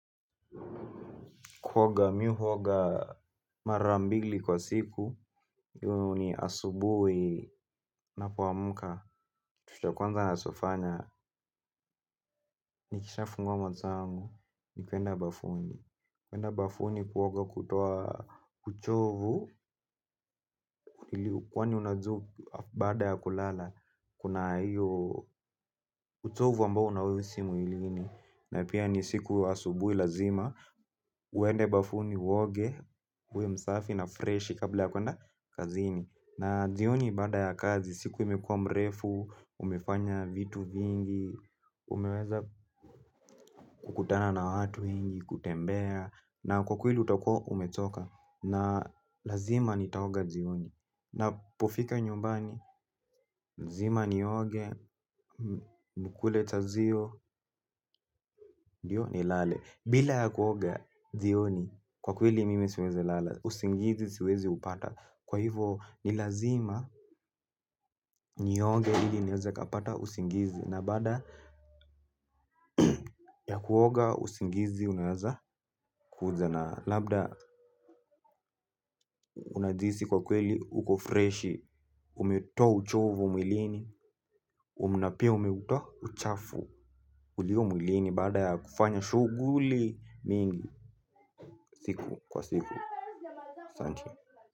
Kuoga mimi uoga mara mbili kwa siku, hiyo ni asubuhi ninapoamka, kitu cha kwanza ninachofanya, nikishafungua matangu, ni kuenda bafuni. Kuenda bafuni kuoga kutoa kuchovu, kwani unajua baada ya kulala, kuna hiyo uchovu ambao unauhisi mwilini. Na pia ni siku asubuhi lazima, uende bafuni uoge, uwe msafi na freshi kabla ya kuenda kazini. Na jioni baada ya kazi, siku imekuwa mrefu, umefanya vitu vingi, umeweza kukutana na watu wengi, kutembea. Naam kwa kweli utakuwa umechoka, na lazima nitaoga jioni. Ninapofika nyumbani, lazima nioge, nikule chajio, ndio nilale. Bila ya kuoga jioni, kwa kweli mimi siwezi lala, usingizi siwezi upata. Kwa hivo ni lazima nioge ili niweze kupata usingizi. Na baada ya kuoga usingizi unaweza kuja na labda unajihisi kwa kweli uko freshi. Umetoa uchovu mwilini, na pia umeutoa uchafu ulio mwilini baada ya kufanya shughuli mingi siku kwa siku asanti.